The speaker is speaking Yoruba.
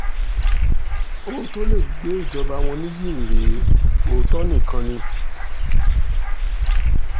ohun tó lè gbé ìjọba wọn nìyí rèé òótọ́ nìkan ni